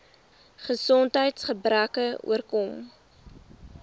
gesondheids gebreke oorkom